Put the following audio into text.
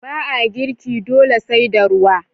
Ba a girke dole sai da ruwa.